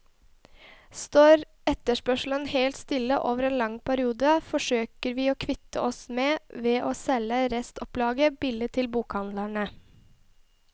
Står etterspørselen helt stille over en lang periode, forsøker vi å kvitte oss med ved å selge restopplaget billig til bokhandlene.